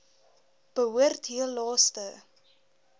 behoort heel laaste